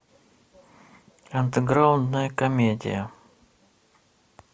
андеграундная комедия